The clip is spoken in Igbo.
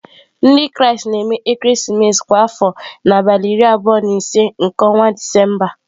Ndị Kraịst na-eme ekeresimesi kwa afọ n'abalị iri abụọ na ise nke ọnwa Disemba.